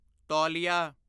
ਤੌਲੀਆ